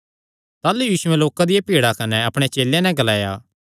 ताह़लू यीशुयैं लोकां दिया भीड़ा कने अपणे चेलेयां नैं ग्लाया